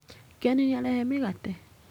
Ken nĩ arehe mĩgate.